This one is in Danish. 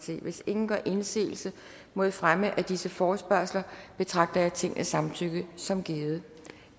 hvis ingen gør indsigelse mod fremme af disse forespørgsler betragter jeg tingets samtykke som givet